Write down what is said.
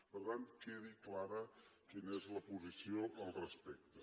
per tant quedi clara quina és la posició al respecte